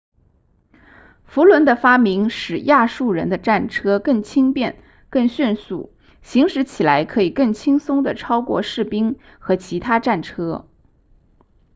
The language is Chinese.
辐轮的发明使亚述人的战车更轻便更迅速行驶起来可以更轻松地超过士兵和其他战车